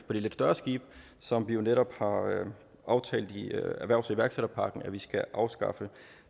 på de lidt større skibe som vi netop har aftalt i erhvervs og iværksætterpakken skal afskaffes